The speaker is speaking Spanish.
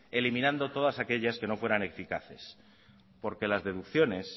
eliminando todas aquellas que no fueran eficaces porque las deducciones